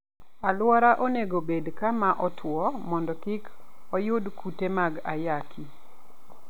Aluora onego obed kama otwo mondo kik oyud kute mag ayaki.